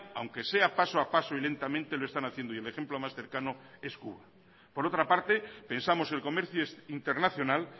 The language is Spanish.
aunque sea paso a paso y lentamente lo están haciendo y el ejemplo más cercano es cuba por otra parte pensamos el comercio internacional